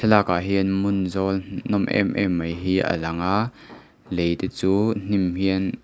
lakah hian hmun zawl nawm em em mai hi a lang a lei te chu hnim hian--